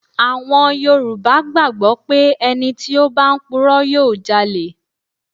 À̀wùjọ Yorùbá gbàgbọ́ pé ẹni tí ó bá ń purọ́ yóò jalẹ̀